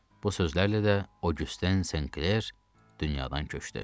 Bu sözlərlə də o gücdən Senkler dünyadan köçdü.